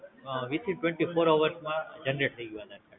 વિસ થી Twenty Four Hours માં Generate થાય ગયું